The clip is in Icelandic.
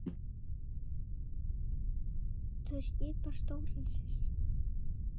Þau skipa stóran sess.